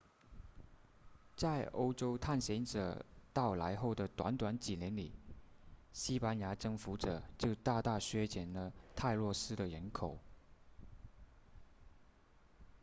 在欧洲探险者到来后的短短几年里西班牙征服者就大大削减了泰诺斯的人口